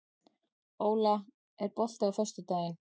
Óla, er bolti á föstudaginn?